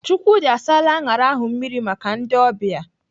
Chukwudi asaala aṅara ahụ mmiri maka ndị ọbịa.